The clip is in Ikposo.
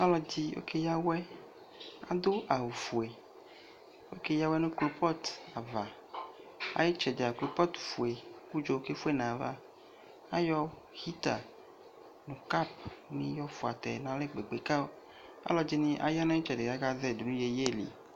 Ɔde ɔkeya awɛ aso awufue Okeya awɛ no kropɔt Aye tsɛdea kropɔt fue ko udzo ke fue nava Ayɔ hita, cap ne yɔ fuatɛ nalɛ kpekpe, ka alɔde ne aya no itsɛde kaka zɛi do no yeye li